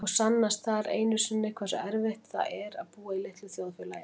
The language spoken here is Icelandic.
Og sannast þar enn einu sinni hversu erfitt það er að búa í litlu þjóðfélagi.